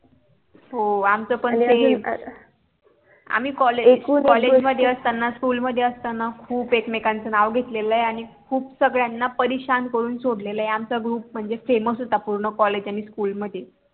हो आमच पण SAME आम्ही COLLEGE COLLEGE मध्ये असताना SCHOOL मध्ये असताना खूप एकमेकांच नाव घेतलेलं आहे आणि खूप सगळ्यांना परेशान करून सोडलेला आहे आमचा GROUP म्हणजे FAMOUS होता पूर्ण COLLEGE आणि SCHOOL मध्ये